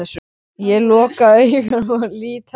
Ég loka augunum og lýt höfði.